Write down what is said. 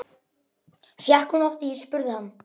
Fékk hún oft ís? spurði hann.